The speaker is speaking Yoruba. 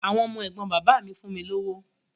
Àwọn ọmọ ẹ̀gbọ́n bàbá mi fún mi lówó.